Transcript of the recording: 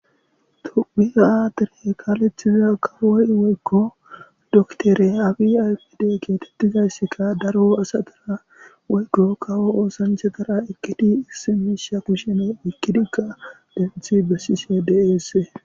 tupi aadiri kaalethiza kawoy woykko doktore afi aypid geetettizaysska daro asadara woykko kawo oosanche dara ekedi issimisha kushene ikidigka defithi bessise deese